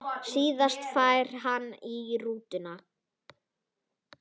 Síðan færi hann í rútuna.